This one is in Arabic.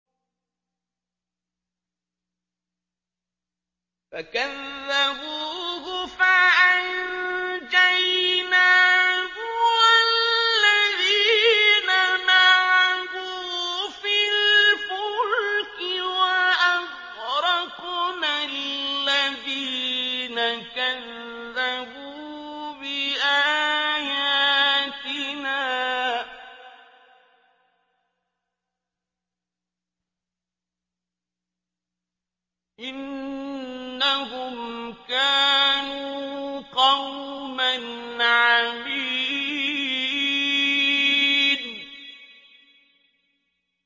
فَكَذَّبُوهُ فَأَنجَيْنَاهُ وَالَّذِينَ مَعَهُ فِي الْفُلْكِ وَأَغْرَقْنَا الَّذِينَ كَذَّبُوا بِآيَاتِنَا ۚ إِنَّهُمْ كَانُوا قَوْمًا عَمِينَ